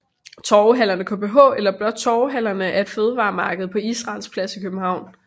TorvehallerneKBH eller blot Torvehallerne er et fødevaremarked på Israels Plads i København